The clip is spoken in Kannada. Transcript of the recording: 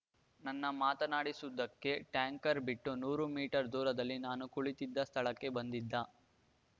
ನನ್ನ ಮಾತನಾಡಿಸುವುದಕ್ಕೆ ಟ್ಯಾಂಕರ್‌ ಬಿಟ್ಟು ನೂರು ಮೀಟರ್‌ ದೂರದಲ್ಲಿ ನಾನು ಕುಳಿತಿದ್ದ ಸ್ಥಳಕ್ಕೆ ಬಂದಿದ್ದ